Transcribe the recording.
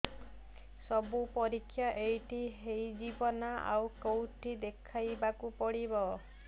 ସବୁ ପରୀକ୍ଷା ଏଇଠି ହେଇଯିବ ନା ଆଉ କଉଠି ଦେଖେଇ ବାକୁ ପଡ଼ିବ